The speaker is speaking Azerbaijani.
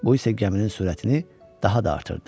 Bu isə gəminin sürətini daha da artırdı.